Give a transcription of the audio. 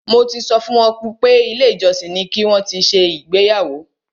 Mo ti sọ fún wọn pé ilé ìjọsìn ni ki wọn ti ṣe ìgbéyàwó.